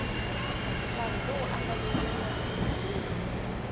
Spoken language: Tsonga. nkarhi lowu nga vekeriwa vutirheli